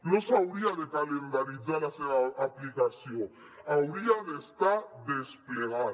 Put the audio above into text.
no s’hauria de calendaritzar la seva aplicació hauria d’estar desplegat